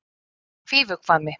Fífuhvammi